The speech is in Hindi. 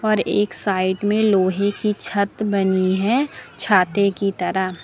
और एक साइड में लोहे की छत बनी है छाते की तरह।